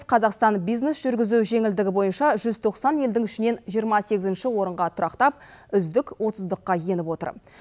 қазақстан бизнес жүргізу жеңілдігі бойынша жүз тоқсан елдің ішінен жиырма сегізінші орынға тұрақтап үздік отыздыққа еніп отыр